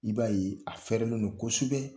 I b'a ye a fɛrɛlen don kosɛbɛ